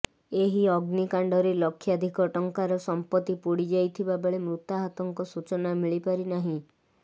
ଏହି ଅଗ୍ନିକାଣ୍ଡରେ ଲକ୍ଷାଧିକ ଟଙ୍କାର ସଂପତି ପୋଡିଯାଇଥିବାବେଳେ ମୃତାହତଙ୍କ ସୁଚନା ମିଳିପାରିନାହିଁ